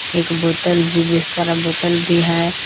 एक बोतल भी सारा बोतल भी है।